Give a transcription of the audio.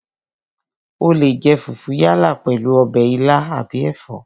O leè jẹ fùfú yálà pèlú ọbẹ̀ ilá àbí ẹ̀fọ́